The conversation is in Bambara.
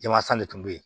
Jɛmansa de tun bɛ yen